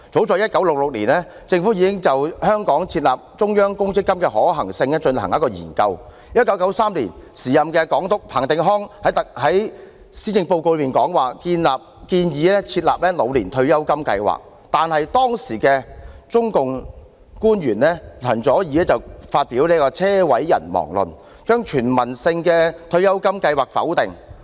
早於1966年，政府已經就在香港設立中央公積金的可行性進行研究；在1993年，時任總督彭定康在施政報告中建議設立"老年退休金計劃"，然而，當時的中共官員陳佐洱發表"車毀人亡論"，將全民退休金計劃否定。